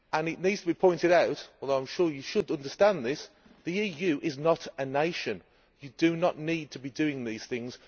It needs to be pointed out, although I know you should understand this, that the EU is not a nation. You do not need to be doing these things.